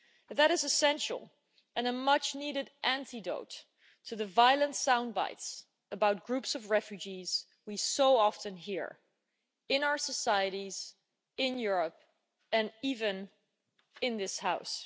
That is essential and a much-needed antidote to the violent soundbites about groups of refugees we so often hear in our societies, in Europe and even in this House.